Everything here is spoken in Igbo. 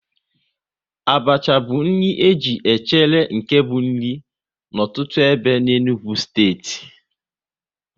Abacha bụ nri e ji echere nke bụ nri n'ọtụtụ ebe n'Enugu steeti